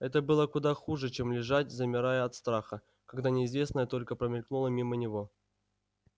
это было куда хуже чем лежать замирая от страха когда неизвестное только промелькнуло мимо него